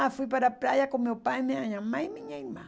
Ah, fui para a praia com meu pai, minha mãe e minha irmã.